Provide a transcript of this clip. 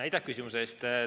Aitäh küsimuse eest!